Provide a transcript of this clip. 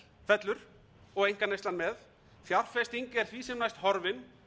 fellur og einkaneyslan með fjárfesting er því sem næst horfin